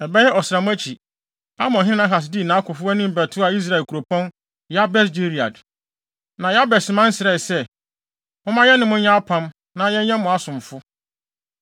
Ɛbɛyɛ ɔsram akyi, Amonhene Nahas dii nʼakofo anim bɛtoaa Israel kuropɔn Yabes Gilead. Na Yabesman mma srɛɛ sɛ, “Momma yɛne mo nyɛ apam, na yɛbɛyɛ mo asomfo.”